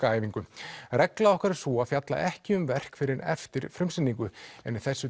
regla okkar er sú að fjalla ekki um verk fyrr en eftir frumsýningu en í þessu